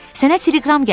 Sənə teleqram gəlib.